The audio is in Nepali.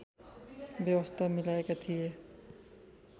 व्यवस्था मिलाएका थिए